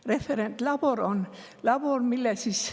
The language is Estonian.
Referentlabor on labor, millel siis …